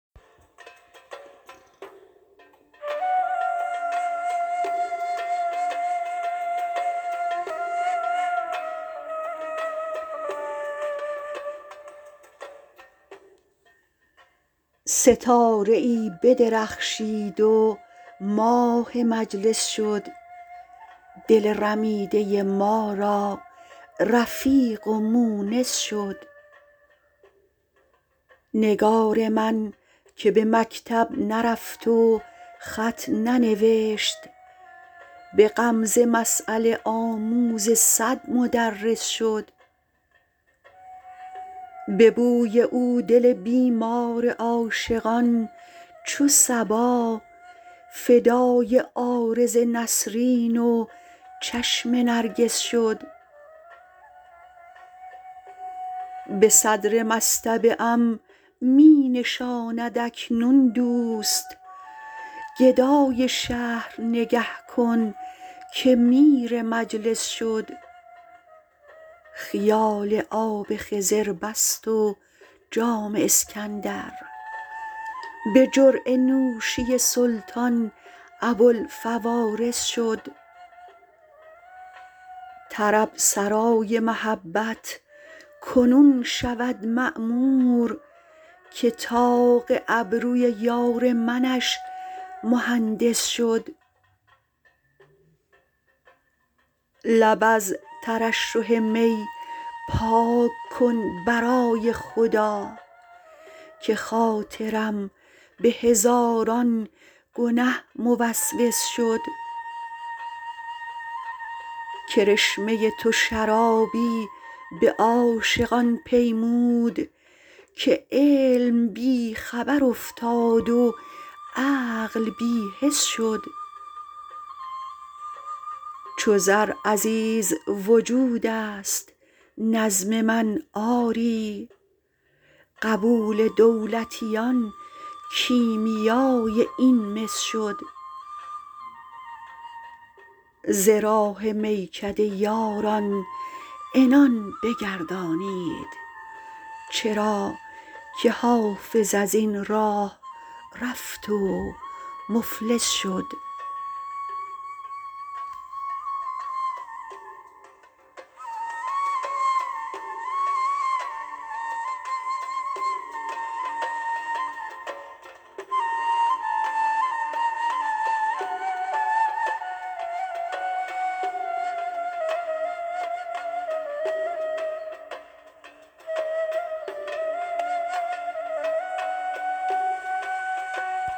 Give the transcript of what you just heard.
ستاره ای بدرخشید و ماه مجلس شد دل رمیده ما را رفیق و مونس شد نگار من که به مکتب نرفت و خط ننوشت به غمزه مسأله آموز صد مدرس شد به بوی او دل بیمار عاشقان چو صبا فدای عارض نسرین و چشم نرگس شد به صدر مصطبه ام می نشاند اکنون دوست گدای شهر نگه کن که میر مجلس شد خیال آب خضر بست و جام اسکندر به جرعه نوشی سلطان ابوالفوارس شد طرب سرای محبت کنون شود معمور که طاق ابروی یار منش مهندس شد لب از ترشح می پاک کن برای خدا که خاطرم به هزاران گنه موسوس شد کرشمه تو شرابی به عاشقان پیمود که علم بی خبر افتاد و عقل بی حس شد چو زر عزیز وجود است نظم من آری قبول دولتیان کیمیای این مس شد ز راه میکده یاران عنان بگردانید چرا که حافظ از این راه رفت و مفلس شد